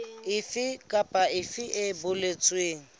efe kapa efe e boletsweng